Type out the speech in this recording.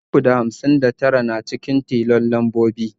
Ɗari uku da hamsin da tara yana cikin tilon lambobi.